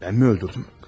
Ben mi öldürdüm?